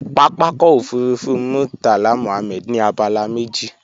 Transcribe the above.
Pápákọ̀ òfurufú Murtala Muhammed ní abala méjì